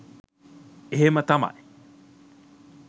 එහෙම තමයි.